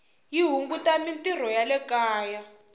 yi hunguta mintirho ya le kaya